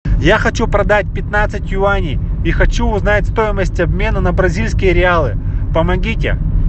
я хочу продать пятнадцать юаней и хочу узнать стоимость обмена на бразильские реалы помогите